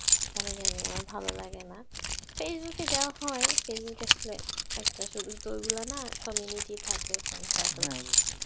কেন জানিনা আমার ভালো লাগেনা facebook এ যা হয় facebook তো শুধু তো ওইগুলা না community থাকে friend circle থাকে, হ্যাঁ অবশ্যই।